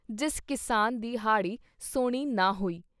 ਜਿਸ ਕਿਸਾਨ ਦੀ ਹਾੜ੍ਹੀ-ਸੌਣੀ ਨਾ ਹੋਈ।